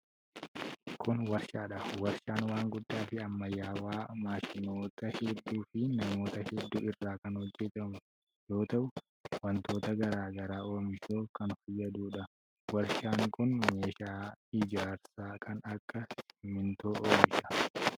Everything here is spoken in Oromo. Kun warshaa dha. Warshaan waan guddaa fi ammayyawaa maashinoota hedduu fi manoota hedduu irraa kan hojjatamu yoo ta'u, wantoota garaa garaa oomishuuf kan fayyaduu dha. Warshaan kun meeshaa ijaarsaa kan akka simiintoo oomisha.